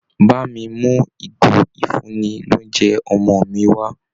Bá mi mú ìgò ìfúnni-lóunjẹ ọmọ mi wá